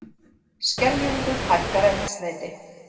Skeljungur hækkar eldsneyti